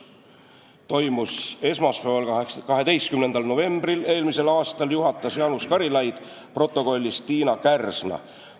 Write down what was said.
Koosolek toimus esmaspäeval, 12. novembril eelmisel aastal, juhatas Jaanus Karilaid, protokollis Tiina Kärsna.